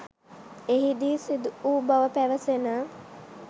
එහි දී සිදු වූ බව පවැසෙන